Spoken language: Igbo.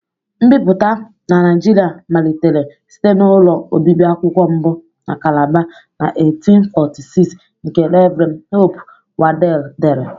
Nbipụta na Nigeria malitere site na ụlọ obibi akwụkwọ mbụ na Calabar, na 1846, nke Rev. Hope Waddel dere.